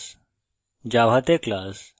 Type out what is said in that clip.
বাস্তব জগতে class